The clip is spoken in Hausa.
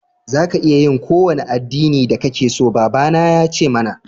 Za ka iya yi ƙowane addinin da ƙake so, baba na ya ce mana.